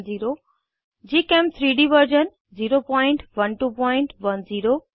gchem3डी वर्जन 01210